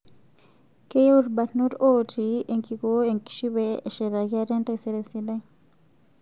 Keyieu ilbarnot ooti enkikoo enkishui pee eshetaki ate entaisere sidai